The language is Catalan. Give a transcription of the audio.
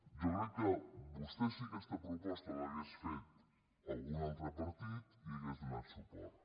jo crec que vostè si aquesta proposta l’hagués fet algun altre partit hi hauria donat suport